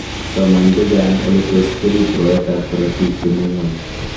soman chehcang ole tos kerib rwaetab korotik ne mi ngony